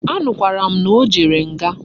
A nukwara m na o jere nga